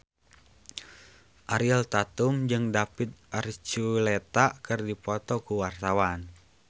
Ariel Tatum jeung David Archuletta keur dipoto ku wartawan